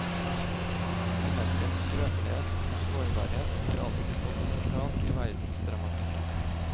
Menneskets skrøpelighet og sårbarhet har alltid stått sentralt i verdensdramatikken.